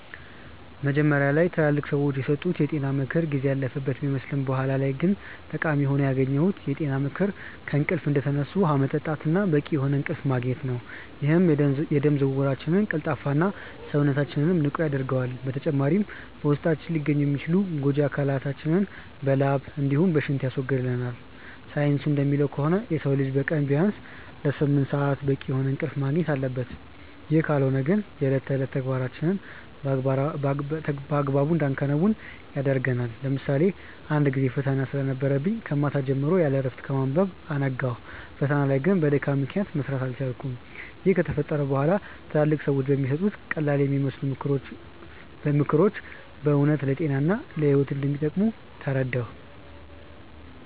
መጀመሪያ ላይ ትላልቅ ሰዎች የሰጡት የጤና ምክር ጊዜ ያለፈበት ቢመስልም በኋላ ላይ ጠቃሚ ሆኖ ያገኘሁት የጤና ምክር ከእንቅልፍ እንደተነሱ ውሃ መጠጣት እና በቂ የሆነ እንቅልፍ ማግኘት ነው፤ ይህም የደም ዝውውራችንን ቀልጣፋ እና፣ ሰውነታችንንም ንቁ ያደርገዋል። በተጨማሪም በውስጣችን ሊገኙ የሚችሉ ጎጂ አካላቶችን በላብ እንዲሁም በሽንት ያስወግድልናል። ሳይንሱ እንደሚለው ከሆነ የሰው ልጅ በቀን ቢያንስ ለስምንት ሰአት በቂ የሆነ እንቅልፍ ማግኘት አለበት፤ ይህ ካልሆነ ግን የእለት ተዕለት ተግባራችንን በአግባቡ እንዳናከናውን ያደርገናል። ለምሳሌ አንድ ጊዜ ፈተና ስለነበረብኝ ከማታ ጀምሮ ያለእረፍት በማንበብ አነጋው። ፈተናው ላይ ግን በድካም ምክንያት መስራት አልቻልኩም። ይህ ከተፈጠረ በኋላ ትላልቅ ሰዎች የሚሰጡት ቀላልየሚመስሉ ምክሮች በእውነት ለጤና እና ለህይወት እንደሚጠቅሙ ተረዳሁ።